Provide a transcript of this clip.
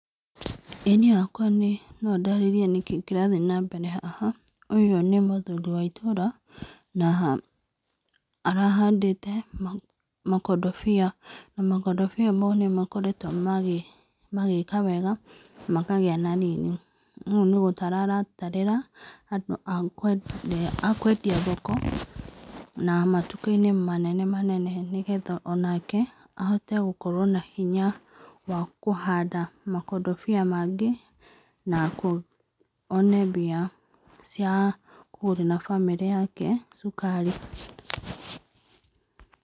Ĩĩ niĩ hakwa no ndarĩrĩe nĩkĩ kĩrathiĩ na mbere haha, ũyũ nĩ mũthuri wa itũra na arahandĩte makondobĩa, na makondobĩa maũ nĩ makoretwo magĩka wega na makagĩa na rĩrĩ. Rĩu nĩ gũtara aratarĩra andũ a kũendia thoko na matũka-inĩ manene manene, nĩgetha onake ahote gũkorwo na hĩnya wa kũhanda makondobĩa mangĩ na one mbia cia kũgũrĩra bamĩrĩ yake cukari.